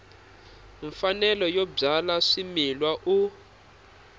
mfanelo yo byala swimila u